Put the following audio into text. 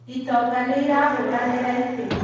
itonga nĩirahũranĩra itĩ